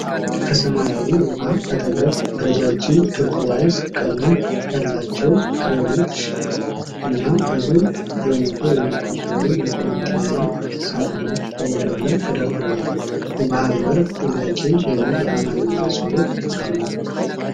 ከሰማያዊ ውሃ አጠገብ፣ ረጃጅም ቱርኩዋዝ ቀለም ያላቸው ክሬኖች እና ብዙ በመቶ የሚቆጠሩ የኮንቴይነር ሳጥኖች በወደብ ላይ ተደርድረዋል። "የባህር በር ጥያቄ " የሚል የአማርኛ ጽሑፍ አለው ።